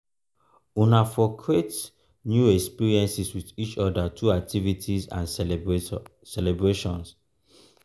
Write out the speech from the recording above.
una for create new experiences with each oda through activities and celebration